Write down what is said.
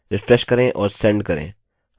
refresh करें और send करें